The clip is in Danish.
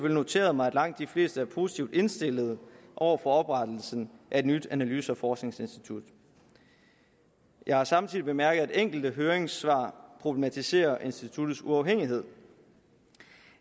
noteret mig at langt de fleste er positivt indstillet over for oprettelsen af et nyt analyse og forskningsinstitut jeg har samtidig bemærket at enkelte høringssvar problematiserer instituttets uafhængighed